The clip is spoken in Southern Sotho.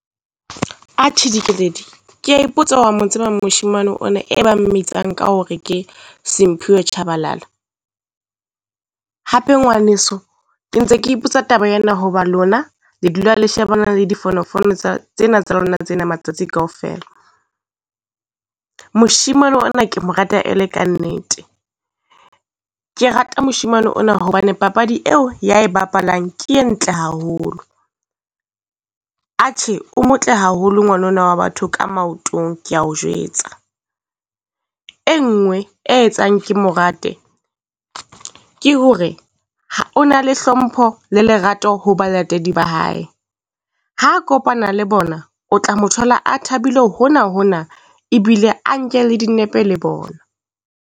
Atjhe Dikeledi kea ipotsa wa mo tsebang moshemane ona e bang mmitsang ka hore ke Simphiwe Tshabalala? Hape ngwaneso ke ntse ke ipotsa taba ena, hoba lona le dula le shebana le difonofono tsa tsena tsa lona tsena matsatsi kaofela. Moshimane ona ke mo rata e le kannete. Ke rata moshimane ona hobane papadi eo ya e bapalang ke e ntle haholo. Atjhe o motle haholo ngwana ona wa batho ka maotong kea o jwetsa. E nngwe e etsang ke mo rate ke hore o na le hlompho le lerato ho balatedi ba hae. Ha kopana le bona, o tla mo thola a thabile hona hona ebile a nke le dinepe le bona.